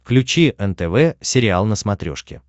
включи нтв сериал на смотрешке